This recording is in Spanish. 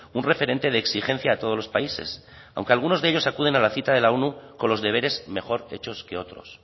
un referente de exigencia a todos los países aunque algunos de ellos acuden a la cita de la onu con los deberes mejor hechos que otros